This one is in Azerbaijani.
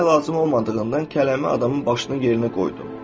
Başqa əlacım olmadığından kələmi adamın başının yerinə qoydum.